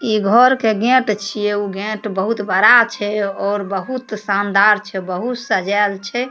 इ घर के गेट छीये उ गेट बहुत बड़ा छै और बहुत शानदार छै बहुत सजाएल छै।